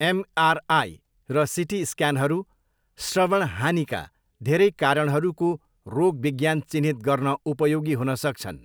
MRI र CT स्क्यानहरू श्रवण हानिका धेरै कारणहरूको रोगविज्ञान चिह्नित गर्न उपयोगी हुन सक्छन्।